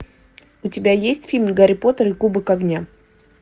у тебя есть фильм гарри поттер и кубок огня